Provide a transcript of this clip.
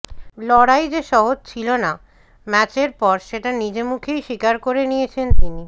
লড়াই যে সহজ ছিল না ম্যাচের পর সেটা নিজে মুখেই স্বীকার করে নিয়েছেন তিনি